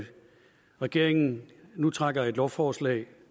regeringen nu trækker et lovforslag